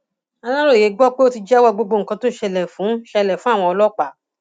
aláròye gbọ pé ó ti jẹwọ gbogbo nǹkan tó ṣẹlẹ fún ṣẹlẹ fún àwọn ọlọpàá